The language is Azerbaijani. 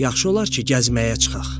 Yaxşı olar ki, gəzməyə çıxaq.